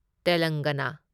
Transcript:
ꯇꯦꯂꯪꯒꯥꯅꯥ